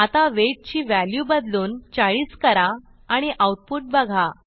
आता वेट ची व्हॅल्यू बदलून 40 करा आणि आऊटपुट बघा